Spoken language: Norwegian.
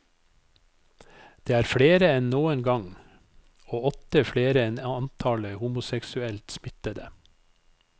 Det er flere enn noen gang, og åtte flere enn antallet homoseksuelt smittede.